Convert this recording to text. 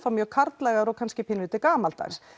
mjög karllægar og kannski pínulítið gamaldags